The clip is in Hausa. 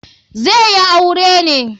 Zai yi aure ne.